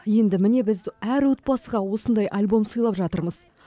енді міне біз әр отбасыға осындай альбом сыйлап жатырмыз